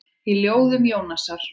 Í ljóðum Jónasar